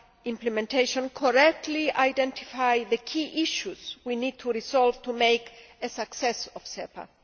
implementation correctly identify the key issues we need to resolve to make a success of SEPA.